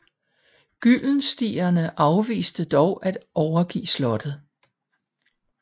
Gyldenstierne afviste dog at overgive slottet